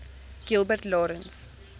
gilbert lawrence